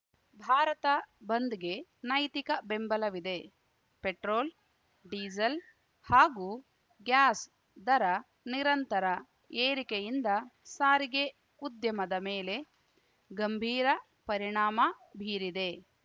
ಭಾರತ ಬಂದ್‌ಗೆ ನೈತಿಕ ಬೆಂಬಲವಿದೆ ಪೆಟ್ರೋಲ್‌ಡೀಸೆಲ್‌ ಹಾಗೂ ಗ್ಯಾಸ್‌ ದರ ನಿರಂತರ ಏರಿಕೆಯಿಂದ ಸಾರಿಗೆ ಉದ್ಯಮದ ಮೇಲೆ ಗಂಭೀರ ಪರಿಣಾಮ ಬೀರಿದೆ